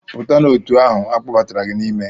Pụta n'òtù ahụ a kpọbatara gị n'ime!